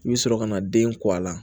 I bɛ sɔrɔ ka na den kɔ a la